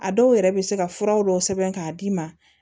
A dɔw yɛrɛ bɛ se ka fura dɔw sɛbɛn k'a d'i ma